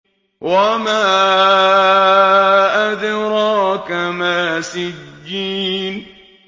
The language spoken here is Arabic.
وَمَا أَدْرَاكَ مَا سِجِّينٌ